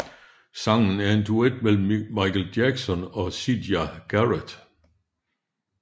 Sangen er en duet mellem Michael Jackson og Siedah Garrett